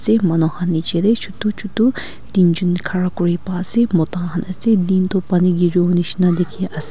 te manu khan niche te chutu chutu tinjon khara kuri pa ase mota khan ase din toh pani gari wo nishi na dikhi ase--